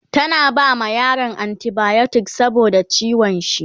tana bama yaron anti biotics saboda ciwon shi